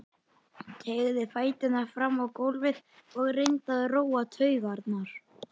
Teygði fæturna fram á gólfið og reyndi að róa taugarnar.